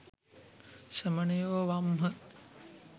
ශ්‍රමණයෝ වම් හ.